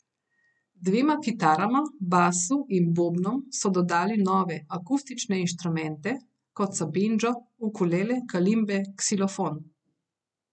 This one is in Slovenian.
Dvema kitarama, basu in bobnom so dodali nove, akustične inštrumente, kot so bendžo, ukulele, kalimbe, ksilofon.